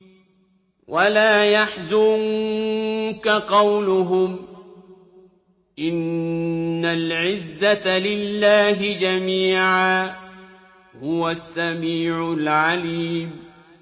وَلَا يَحْزُنكَ قَوْلُهُمْ ۘ إِنَّ الْعِزَّةَ لِلَّهِ جَمِيعًا ۚ هُوَ السَّمِيعُ الْعَلِيمُ